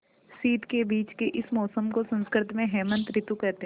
शीत के बीच के इस मौसम को संस्कृत में हेमंत ॠतु कहते हैं